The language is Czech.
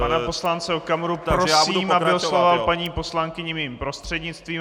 Pana poslance Okamuru prosím, aby oslovoval paní poslankyni mým prostřednictvím.